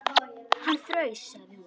Hann fraus, sagði hún.